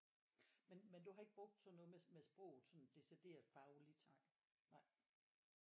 Men men du har ikke brugt sådan noget med med sproget sådan decideret fagligt nej